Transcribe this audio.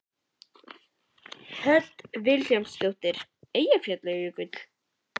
Hödd Vilhjálmsdóttir: Eyjafjallajökull?